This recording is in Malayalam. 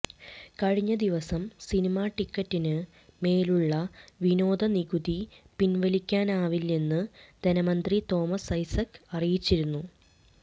കഴിഞ്ഞ ദിവസം സിനിമ ടിക്കറ്റിന് മേലുള്ള വിനോദ നികുതി പിന്വലിക്കാനാവില്ലെന്ന് ധനമന്ത്രി തോമസ് ഐസക്ക് അറിയിച്ചിരുന്നു